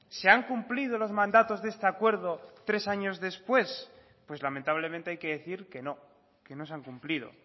se han cumplido los mandatos de este acuerdo tres años después pues lamentablemente hay que decir que no que no se han cumplido